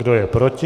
Kdo je proti?